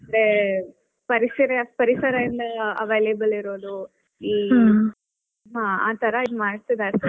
ಅಂದ್ರೆ ಪರಿಸರ ಪರಿಸರದಿಂದ available ಇರೋದು ಆ ತರಾ ಇದು ಮಾಡ್ತಿದ್ದಾರೆ.